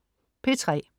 P3: